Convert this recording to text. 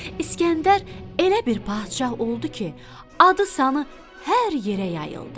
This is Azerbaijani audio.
İskəndər elə bir padşah oldu ki, adı-sanı hər yerə yayıldı.